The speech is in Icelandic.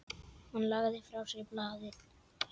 Hann lagði frá sér blaðið.